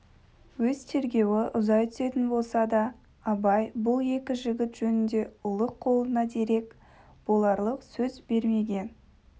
өз тергеуі ұзай түсетін болса да абай бұл екі жігіт жөнінде ұлық қолына дерек боларлық сөз бермеген